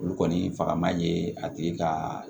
Olu kɔni faga man ye a tigi ka